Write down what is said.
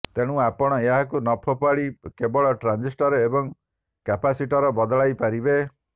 ତେଣୁ ଆପଣ ଏହାକୁ ନ ଫୋପାଡ଼ି କେବଳ ଟ୍ରାଞ୍ଜିଷ୍ଟର୍ ଏବଂ କାପାସିଟର୍ ବଦଳାଇ ପାରିବେ